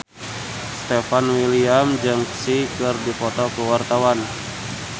Stefan William jeung Psy keur dipoto ku wartawan